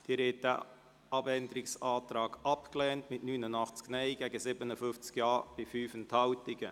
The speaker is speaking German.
Sie haben diesen Abänderungsantrag abgelehnt mit 89 Nein- gegen 57 Ja-Stimmen bei 5 Enthaltungen.